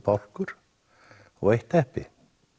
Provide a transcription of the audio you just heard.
bálkur og eitt teppi